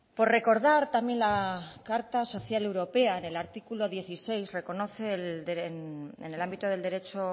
por recordar también la carta social europea en el artículo dieciséis reconoce en el ámbito del derecho